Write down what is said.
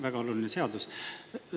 Väga oluline seadus.